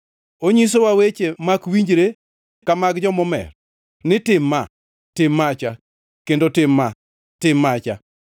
Onyisowa weche mak winjre ka mag jomomer ni: Tim ma, tim macha kendo tim ma, tim macha.”